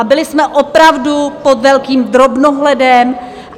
A byli jsme opravdu pod velkým drobnohledem.